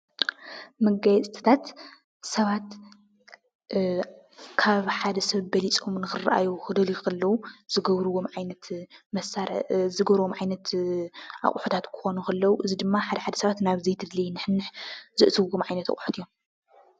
መጋየፅታት ሰባት ካብ ሓደ ሰብ በሊፆም ንኽረኣዩ ክደልዩ ከለው ዝገብርዎ ዓይነት ኣቑሑታት ክኾኑ ከለው እዚ ድማ ሓደ ሓደ ሰባት ናብ ዘይተደለየ ንሕንሕ ዘእትውዎም ዓይነት ኣቑሑት እዮም፡፡